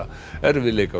erfiðleikar og